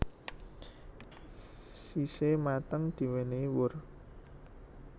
Sise mateng diwenehi wur